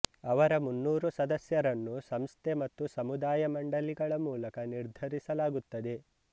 ಅವರ ಮೂನ್ನೂರು ಸದಸ್ಯರನ್ನು ಸಂಸ್ಥೆ ಮತ್ತು ಸಮುದಾಯ ಮಂಡಲಿಗಳ ಮೂಲಕ ನಿರ್ಧರಿಸಲಾಗುತ್ತದೆ